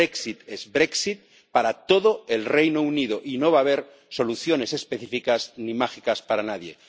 Brexit es brexit para todo el Reino Unido, y no va a haber soluciones específicas ni mágicas para nadie.